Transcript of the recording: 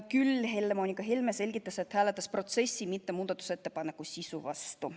Helle-Moonika Helme selgitas, et ta hääletas protsessi, mitte muudatusettepaneku sisu vastu.